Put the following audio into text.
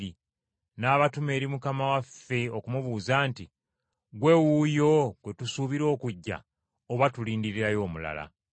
n’abatuma eri Mukama waffe okumubuuza nti, “Ggwe wuuyo gwe tusuubira okujja, oba tulindirireyo omulala?”